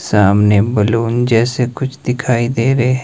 सामने बलून जैसे कुछ दिखाई दे रहे--